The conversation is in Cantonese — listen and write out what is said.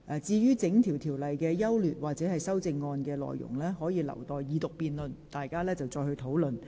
至於《條例草案》的整體優劣或修正案內容，則應留待二讀辯論時再作討論。